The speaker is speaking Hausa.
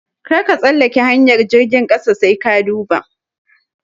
Karka tsallake hanyar jirgin ƙasa sai ka duba.